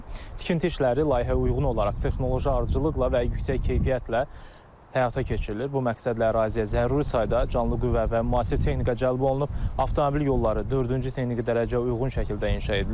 Tikinti işləri layihəyə uyğun olaraq texnoloji ardıcıllıqla və yüksək keyfiyyətlə həyata keçirilir, bu məqsədlə əraziyə zəruri sayda canlı qüvvə və müasir texnika cəlb olunub, avtomobil yolları dördüncü texniki dərəcəyə uyğun şəkildə inşa edilir.